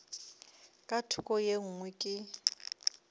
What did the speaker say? ka thoko ye nngwe ke